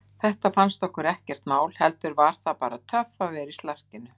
Þetta fannst okkur ekkert mál, heldur var það bara töff að vera í slarkinu.